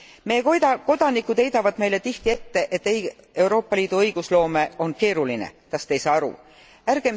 Meie kodanikud heidavad meile tihti ette, et Euroopa Liidu õigusloome on keeruline, kas me ei saa sellest aru.